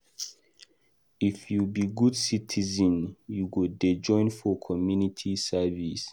If you be good citizen, you go dey join for community service.